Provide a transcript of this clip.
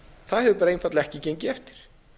það hefur bara einfaldlega ekki gengið eftir